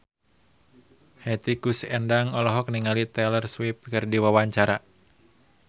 Hetty Koes Endang olohok ningali Taylor Swift keur diwawancara